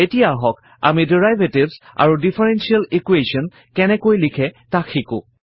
এতিয়া আহক আমি ডেৰিভেটিভছ আৰু ডিফাৰেনশিয়েল ইকোৱেশ্যন কেনেকৈ লিখে তাক শিকো